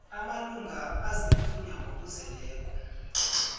amalunga aziinthunywa ngokuzeleko